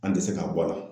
An tɛ se k'a bɔ a la